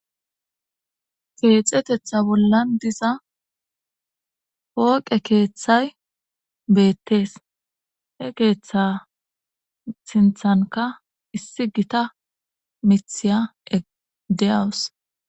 Keexetetha bollan diza hooqe keeththay beettees he keeththa sinthanka issi gita mithiya egdeyawus